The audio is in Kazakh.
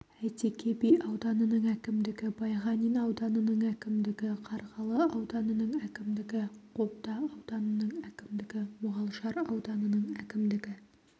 әйтеке би ауданының әкімдігі байғанин ауданының әкімдігі қарғалы ауданының әкімдігі қобда ауданының әкімдігі мұғалжар ауданының әкімдігі